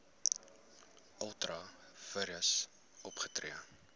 ultra vires opgetree